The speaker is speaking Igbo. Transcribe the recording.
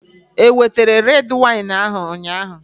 Ewetere red wine ahụ ụnyaahụ?